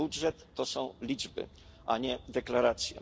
Budżet to są liczby, a nie deklaracje.